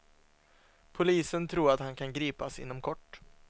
Polisen tror att han kan gripas inom kort.